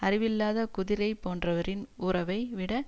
அறிவில்லாத குதிரை போன்றவரின் உறவை விட